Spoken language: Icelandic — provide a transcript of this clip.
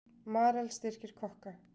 Marel styrkir kokka